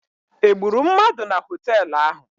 Egburu mmadụ na họteelụ ahụ?